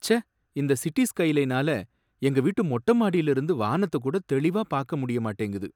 ச்சே! இந்த சிட்டி ஸ்கைலைனால எங்க வீட்டு மொட்ட மாடியில இருந்து வானத்தை கூட தெளிவா பாக்கமுடிய மாட்டேங்குது